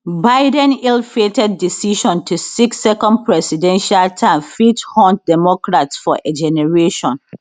biden illfated decision to seek second presidential term fit haunt democrats for a generation